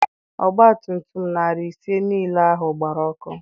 Ọgba tum tum narị ise niile ahụ gbara ọkụ.